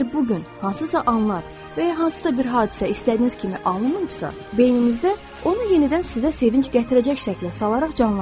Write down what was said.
Əgər bu gün hansısa anlar və ya hansısa bir hadisə istədiyiniz kimi alınmayıbsa, beyninizdə onu yenidən sizə sevinc gətirəcək şəklə salaraq canlandırın.